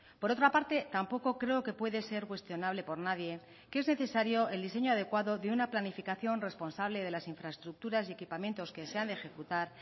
por otra parte tampoco creo que puede ser cuestionable por nadie que es necesario el diseño adecuado de una planificación responsable de las infraestructuras y equipamientos que se han de ejecutar